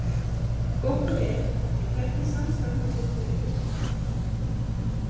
Gott og vel, en hvernig samstarf hafðir þú í huga?